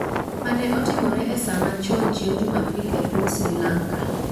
mane otimore e saa machon chieng' Jumapil e piny Sri Lanka